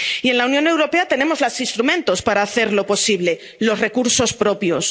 Y en la Unión Europea tenemos los instrumentos para hacerlo posible los recursos propios.